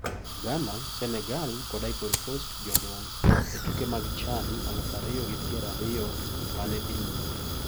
Ghana, Senegal kod Ivory Coast jodong` e tuke mag CHAN aluf ariyo gi pier ariyo ma ne dhi nyime.